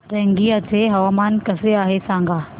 रंगिया चे हवामान कसे आहे सांगा